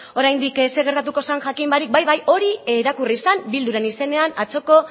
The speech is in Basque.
oraindik zer gertatuko zer jakin barik bai bai hori irakurri zen bilduren izenean atzoko